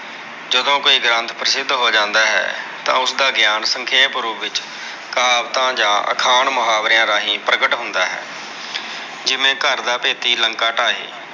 ਜਦੋਂ ਕੋਈ ਗ੍ਰੰਥ ਪ੍ਰਸਿੱਧ ਹੋ ਜਾਂਦਾ ਹੈ। ਤਾਂ ਉਸਦਾ ਗਿਆਨ ਸੰਖੇਪ ਰੂਪ ਵਿੱਚ ਕਹਾਵਤਾਂ ਜਾਂ ਅਖਾਣ ਮੁਹਾਵਰਿਆ ਰਾਹੀਂ ਪ੍ਰਗਟ ਹੁੰਦਾ ਹੈ। ਜਿਵੇ ਘਰ ਦਾ ਭੇਤੀ ਲੰਕਾ ਢਾਏ।